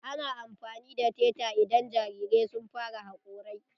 Ana amfani da teta idan jarirai sun fara hakorai.